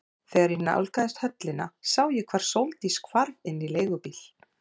Þegar ég nálgaðist höllina sá ég hvar Sóldís hvarf inn í leigubíl.